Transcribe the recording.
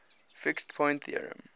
fixed point theorem